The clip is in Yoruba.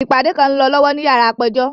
Ipade kan ń lọ lọwọ ni yara apejọ.